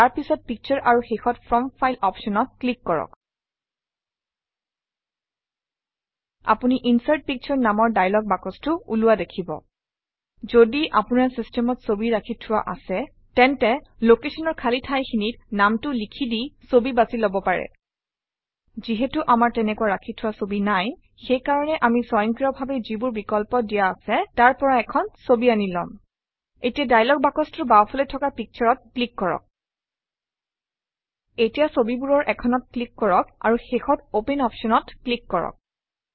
তাৰ পিছত পিকচাৰ আৰু শেষত ফ্ৰম ফাইল অপশ্যনত ক্লিক কৰক আপুনি ইনচাৰ্ট পিকচাৰ নামৰ দায়লগ বাকচটো ওলোৱা দেখিব যদি আপোনাৰ চিষ্টেমত ছবি ৰাখি থোৱা আছে তেন্তে Location অৰ খালী ঠাইখিনিত নামটো লিখি দি ছবি বাছি লব পাৰে যিহেতু আমাৰ তেনেকুৱা ৰাখি থোৱা ছবি নাই সেই কাৰণে আমি স্বয়ংক্ৰিয়ভাৱে যিবোৰ বিকল্প দিয়া আছে তাৰ পৰা এখন ছবি আনি লম এতিয়া দায়লগ বাকচটোৰ বাওঁফালে থকা Picture-অত ক্লিক কৰক এতিয়া ছবিবোৰৰ এখনত ক্লিক কৰক আৰু শেষত অপেন অপশ্যনত ক্লিক কৰক